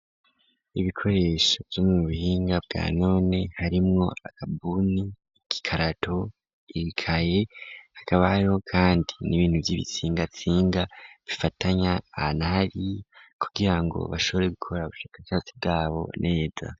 Ibikoresho vyo mu buhinga bwa none harimwo agabuni ikikarato ikaye agabaro, kandi n'ibintu vy'ibitsingatsinga bifatanya anahari kugira ngo bashobore gukora bushaka catsi bwabo neza.